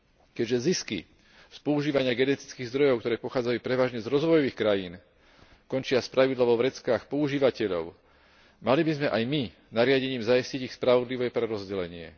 Keďže zisky z používania genetických zdrojov, ktoré pochádzajú prevažne z rozvojových krajín, končia spravidla vo vreckách používateľov, mali by sme aj my nariadením zaistiť ich spravodlivé prerozdelenie.